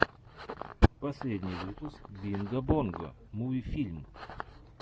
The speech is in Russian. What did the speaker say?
последний выпуск бинго бонго муви фильм